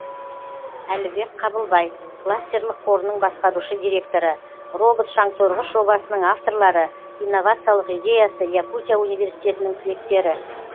әлібек қабылбай кластерлік қорының басқарушы директоры робот шаңсорғыш жобасының авторлары инновациялық идеясы якутия университетінің түлектері